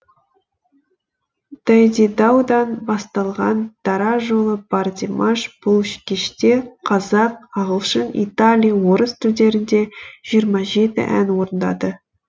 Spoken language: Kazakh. дайдидаудан басталған дара жолы бар димаш бұл кеште қазақ ағылшын италия орыс тілдерінде жиырма жеті ән орындады